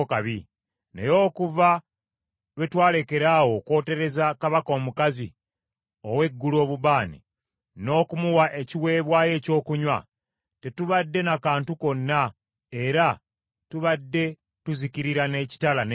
Naye okuva lwe twalekeraawo okwotereza kabaka omukazi ow’eggulu obubaane, n’okumuwa ekiweebwayo ekyokunywa, tetubadde na kantu konna era tubadde tuzikirira n’ekitala n’enjala.”